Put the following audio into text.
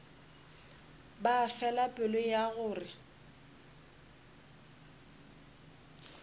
ba fela pelo ya gore